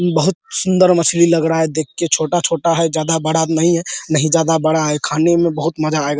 बहुत सुन्दर मछली लग रहा है देख के छोटा छोटा है ज्यादा बड़ा नहीं है नहीं ज्यादा बड़ा है खाने में बहुत मज़ा आएगा |